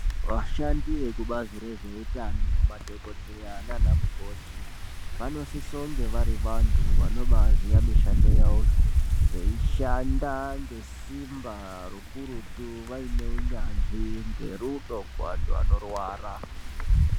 Vashandi vekubazi rezvehutano, madhokodheya nanamukoti vanosise kunge vari vantu vanobaziya mishando yavo. Veyishanda ngesimba rokurutu vayine hunyanzvi ngerudo kuvantu vanorwarwa.